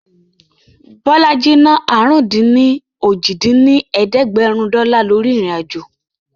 Bọlájí ná àrún-dín-ní-ojì dín ní ẹ̀ẹ́dẹ́gbẹ́rún dọ́là lórí ìrìn-àjò